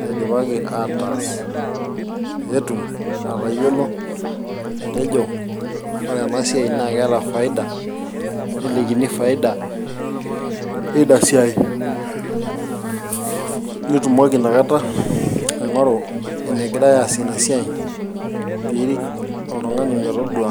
naidipaki ataas petum atayiolo atejo ore ena siai naa keeta faida nelikini faida eina siai nitumoki inakata aing'oru enegirae aasie ina siai piirik oltung'ani metodua